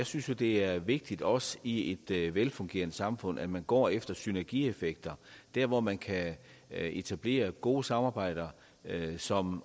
synes at det er vigtigt også i et velfungerende samfund at man går efter synergieffekter der hvor man kan etablere gode samarbejder som